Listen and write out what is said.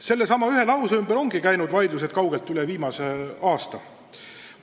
Sellesama ühe lause ümber ongi käinud vaidlused kaugelt kauem kui vaid viimasel aastal.